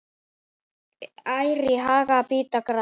Ær í haga bíta gras.